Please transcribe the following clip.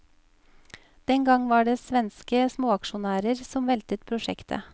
Den gang var det svenske småaksjonærer som veltet prosjektet.